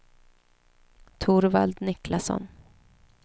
Torvald Niklasson